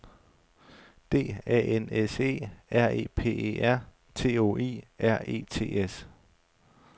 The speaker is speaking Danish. D A N S E R E P E R T O I R E T S